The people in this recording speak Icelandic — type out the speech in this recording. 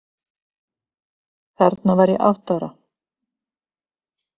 Þarna var ég átta ára.